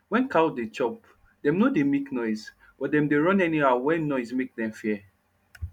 wen cow dey chop dem nor dey make noise but dem dey run anyhow wen noise make dem fear